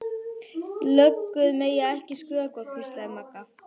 Löggur mega ekki skrökva, hvíslaði Magga.